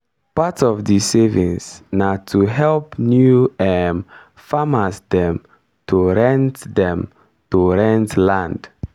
part of di savings na to help new um farmers dem to rent dem to rent land.